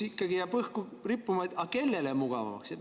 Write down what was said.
Ikkagi jääb õhku rippuma küsimus: aga kellele mugavamaks?